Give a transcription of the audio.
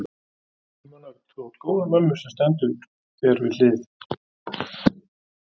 Símon Örn: Þú átt góða mömmu sem stendur þér við hlið?